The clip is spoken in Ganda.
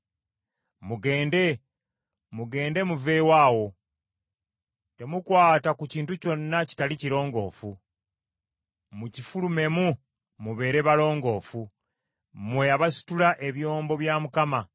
Mugende, mugende muveewo awo. Temukwata ku kintu kyonna kitali kirongoofu. Mukifulumemu mubeere balongoofu mmwe abasitula ebyombo bya Mukama .